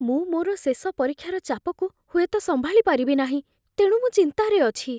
ମୁଁ ମୋର ଶେଷ ପରୀକ୍ଷାର ଚାପକୁ ହୁଏତ ସମ୍ଭାଳି ପାରିବି ନାହିଁ, ତେଣୁ ମୁଁ ଚିନ୍ତାରେ ଅଛି।